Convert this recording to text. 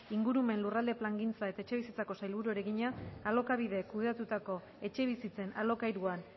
ingurumen lurralde plangintza eta etxebizitzako sailburuari egina alokabidek kudeatutako etxebizitzen alokairuan